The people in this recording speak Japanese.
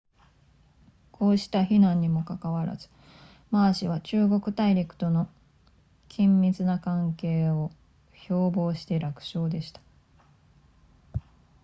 こうした非難にもかかわらず馬氏は中国大陸との緊密な関係を標榜して楽勝でした